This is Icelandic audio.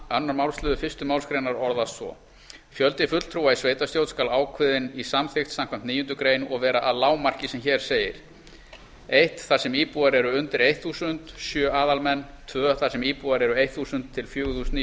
a aðra málsl fyrstu málsgrein orðast svo fjöldi fulltrúa í sveitarstjórn skal ákveðinn í samþykkt samkvæmt níundu greinar og vera að lágmarki sem hér segir fyrstu þar sem íbúar eru undir þúsund sjö aðalmenn annað þar sem íbúar eru þúsund til fjögur þúsund níu